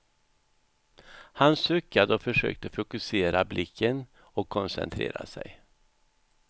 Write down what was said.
Han suckade och försökte fokusera blicken och koncentrera sig.